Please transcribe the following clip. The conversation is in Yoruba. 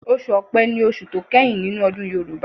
Ọsù ọpé ní oṣù tó kẹ́yìn nínú ọdún Yorùbá.